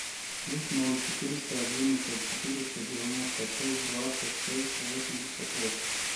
плюс ноль четыреста одиннадцать четыреста девяносто шесть двадцать шесть восемьдесят восемь